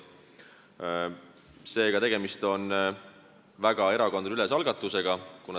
Seega on see erakondadeülene algatus.